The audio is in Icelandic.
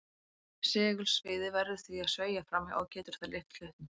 Segulsviðið verður því að sveigja fram hjá og getur við það lyft hlutnum.